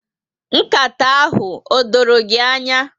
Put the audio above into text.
Nkata ahụ o dọrọ gị ányá.